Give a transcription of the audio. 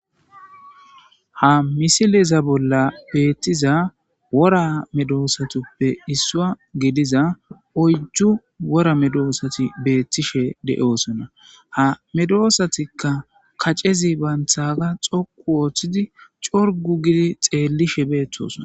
Ha missileza bolla bettiza wora medossotappe isuwa gidiza oyddu woora medosat betishshe de"ossona ha medosatikka kaccezi bantagga doqu oththidi corgu giidi xelishshe qoncciside betosona